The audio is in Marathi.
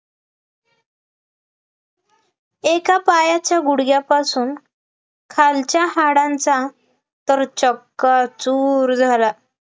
एका पायाच्या गुडघ्यापासून खालच्या हाडांचा तर चक्काचूर झाला